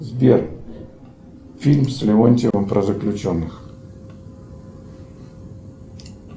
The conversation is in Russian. сбер фильм с леонтьевым про заключенных